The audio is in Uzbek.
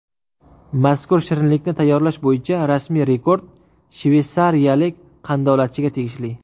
Mazkur shirinlikni tayyorlash bo‘yicha rasmiy rekord shveysariyalik qandolatchiga tegishli.